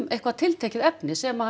eitthvað tiltekið efni sem